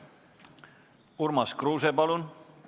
Urmas Kruuse, palun!